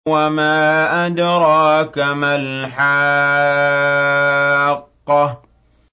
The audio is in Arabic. وَمَا أَدْرَاكَ مَا الْحَاقَّةُ